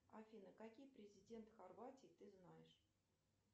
афина каких президентов хорватии ты знаешь